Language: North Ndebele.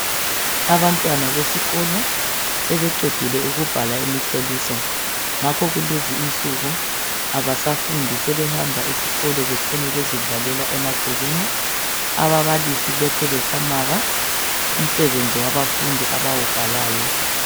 Abantwana besikolo sebeqedile ukubhala imihloliso ngakho kulezi insuku abasafundi sebehamba esikolo betshone bezidlalela emagcekeni. Ababalisi lokhe besamaka umsebenzi wabafundi abawubhalayo.